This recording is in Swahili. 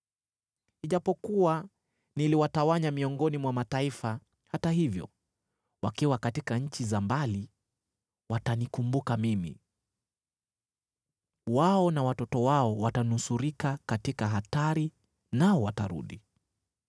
Ijapokuwa niliwatawanya miongoni mwa mataifa, hata hivyo wakiwa katika nchi za mbali watanikumbuka mimi. Wao na watoto wao watanusurika katika hatari nao watarudi.